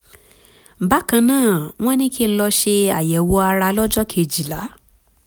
bákan náà wọ́n ní kí n lọ ṣe àyẹ̀wò ara lọ́jọ́ kejìlá